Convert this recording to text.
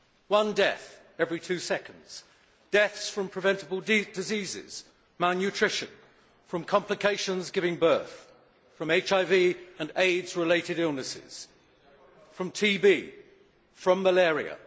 One death every two seconds, deaths from preventable diseases, malnutrition, from complications giving birth, from HIV and Aids related illnesses, from TB, from malaria.